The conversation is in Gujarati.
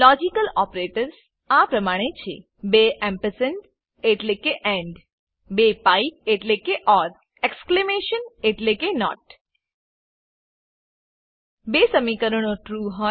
લોજિકલ ઓપરેટર્સ આ પ્રમાણે છે બે એમ્પરસેન્ડ એટલેકે બે પાઇપ એટલેકે એક્સક્લેમેશન એટલેકે બે સમીકરણો ટ્રૂ